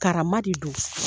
Kara de don.